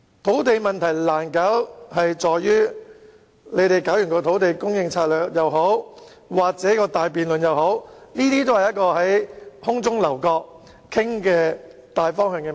土地供應問題難處理的原因是，無論推行"優化土地供應策略"或展開大辯論，也只是討論大方向。